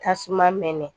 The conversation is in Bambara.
Tasuma mɛnɛ